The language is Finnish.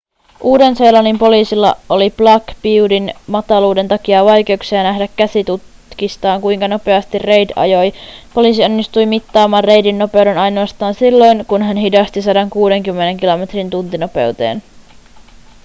uuden-seelannin poliisilla oli black beautyn mataluuden takia vaikeuksia nähdä käsitutkistaan kuinka nopeasti reid ajoi poliisi onnistui mittaamaan reidin nopeuden ainoastaan silloin kun hän hidasti 160 kilometrin tuntinopeuteen